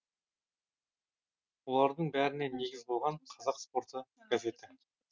олардың бәріне негіз болған қазақ спорты газеті